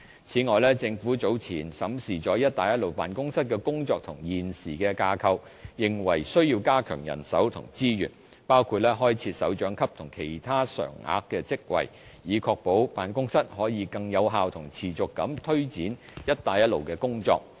此外，政府早前審視了"一帶一路"辦公室的工作和現時的架構，認為需要加強人手和資源，包括開設首長級和其他常額職位，以確保辦公室可以更有效和持續地推展"一帶一路"的工作。